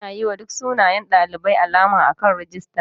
Ana yiwa duk sunayen ɗalibai alama akan rijista.